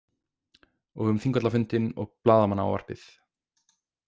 Og um Þingvallafundinn og blaðamannaávarpið.